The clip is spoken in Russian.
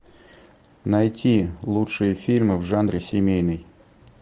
найти лучшие фильмы в жанре семейный